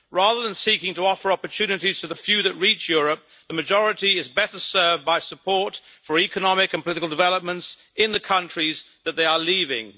Rather than seeking to offer opportunities to the few that reach Europe, the majority is better served by support for economic and political developments in the countries that they are leaving.